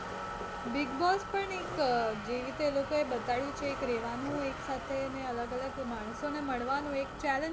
Bigg Boss પણ એક જે રીતે એ લોકો એ બતાડ્યું છે એક રહેવાનું એક સાથે ને અલગ અલગ માણસો ને મળવાનું એક challenge